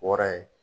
Wɔɔrɔ ye